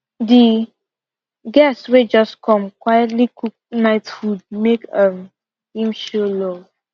di guest wey just come quietly cook night food make um him show love